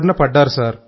బారిన పడ్డారు